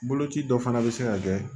Boloci dɔ fana bɛ se ka kɛ